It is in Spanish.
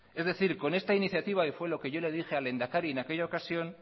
es decir con esta iniciativa y fue lo que yo le dije al lehendakari en aquella ocasión